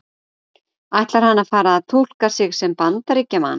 Ætlar hann að fara að túlka sig sem Bandaríkjamann?